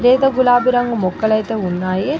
లేత గులాబీ రంగు మొక్కలైతే ఉన్నాయి.